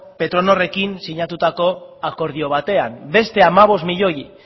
pretonorrekin sinatutako akordio batean beste hamabost koma bost milioi